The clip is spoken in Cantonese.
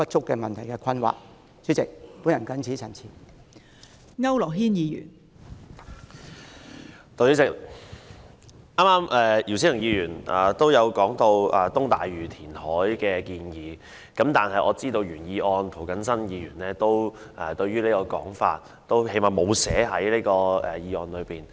代理主席，姚思榮議員剛才提及東大嶼填海的建議，但我知道提出原議案的涂謹申議員沒有把這項建議寫入議案。